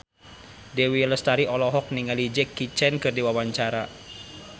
Dewi Lestari olohok ningali Jackie Chan keur diwawancara